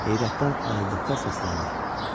Heyrətdən ayıldıqda səsləndi.